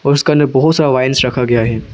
उसका अंदर बहोत सारा वाइंस रखा गया है।